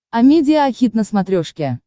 амедиа хит на смотрешке